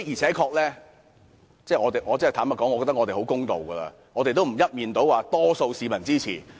坦白說，我認為我們已很公道，沒有說我們一面倒獲得多數市民支持。